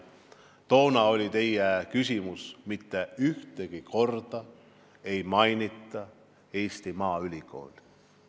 Toona oli teie küsimus, miks mitte ühtegi korda ei mainitud Eesti Maaülikooli.